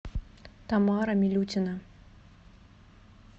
тамара милютина